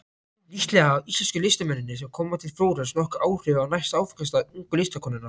Líklega hafa íslensku listamennirnir sem koma til Flórens nokkur áhrif á næsta áfangastað ungu listakonunnar.